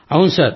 అవును సార్